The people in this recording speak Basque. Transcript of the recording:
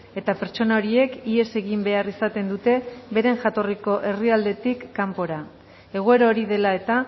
eta pertsona horiek ihes egin behar izaten dute beren jatorriko herrialdetik kanpora egoera hori dela eta